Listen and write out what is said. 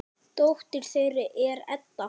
Dóttir þeirra er Edda.